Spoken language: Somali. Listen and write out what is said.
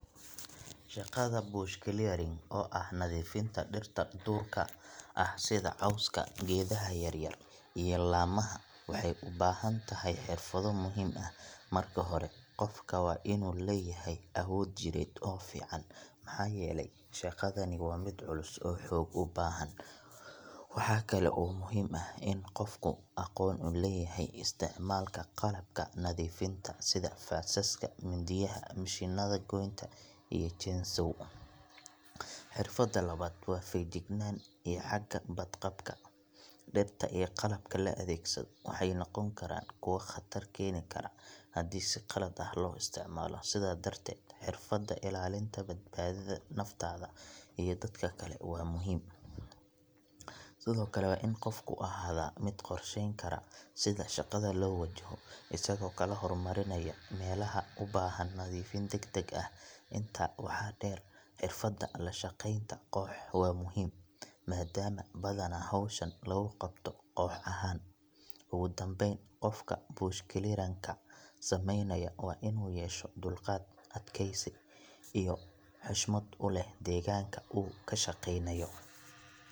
Shaqada bush clearing, oo ah nadiifinta dhirta duurka ah sida cawska, geedaha yaryar iyo laamaha, waxay u baahan tahay xirfado muhiim ah. Marka hore, qofka waa inuu leeyahay awood jireed oo fiican, maxaa yeelay shaqadani waa mid culus oo xoog u baahan. Waxaa kale oo muhiim ah in qofku aqoon u leeyahay isticmaalka qalabka nadiifinta sida faasaska, mindiyaha, mishiinada goynta iyo chainsaw. Xirfadda labaad waa feejignaan iyo xagga badqabka. Dhirta iyo qalabka la adeegsado waxay noqon karaan kuwo khatar keeni kara haddii si qalad ah loo isticmaalo. Sidaa darteed, xirfadda ilaalinta badbaadada naftaada iyo dadka kale waa muhiim. Sidoo kale, waa in qofku ahaadaa mid qorsheyn kara sida shaqada loo wajaho, isagoo kala hormarinaya meelaha u baahan nadiifin degdeg ah. Intaa waxaa dheer, xirfadda la shaqaynta koox waa muhiim, maadaama badanaa howshan lagu qabto koox ahaan. Ugu dambeyn, qofka bush clearing ka sameynaya waa inuu yeesho dulqaad, adkaysi iyo xushmad u leh deegaanka uu ka shaqeynayo.